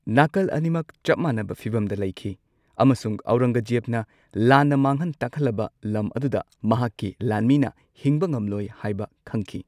ꯅꯥꯀꯜ ꯑꯅꯤꯃꯛ ꯆꯞ ꯃꯥꯟꯅꯕ ꯐꯤꯚꯝꯗ ꯂꯩꯈꯤ ꯑꯃꯁꯨꯡ ꯑꯧꯔꯪꯒꯖꯦꯕꯅ ꯂꯥꯟꯅ ꯃꯥꯡꯍꯟ ꯇꯥꯛꯍꯜꯂꯕ ꯂꯝ ꯑꯗꯨꯗ ꯃꯍꯥꯛꯀꯤ ꯂꯥꯟꯃꯤꯅ ꯍꯤꯡꯕ ꯉꯝꯂꯣꯢ ꯍꯥꯏꯕ ꯈꯪꯈꯤ꯫